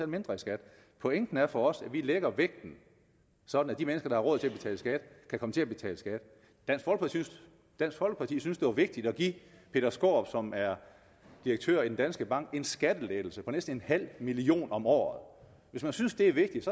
mindre i skat pointen er for os at vi lægger vægten sådan at de mennesker der har råd til at betale skat vil komme til at betale skat dansk folkeparti synes at det var vigtigt at give peter skaarup som er direktør i danske bank en skattelettelse på næsten en halv million kroner om året hvis man synes det er vigtigt